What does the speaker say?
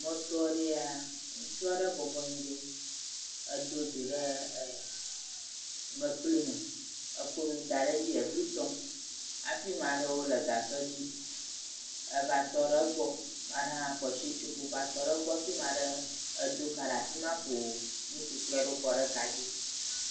Mɔto aɖee ya ŋutsu aɖe bɔbɔ anyi ɖo. Edo dzo ɖe ɛɛ mekpli me. Eko nu da ɖe dzi ebli tɔm afi ma ɖewo le gasɔ dzi eva tɔ ɖe egbɔ, ma ɖe hã kɔ shi tsoƒe va tɔ ɖe egbɔ fi ma ɖe edo ka ɖe afi ma koo nukuklui aɖewo ɖe kadzi